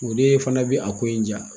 O de fana bɛ a ko in diya.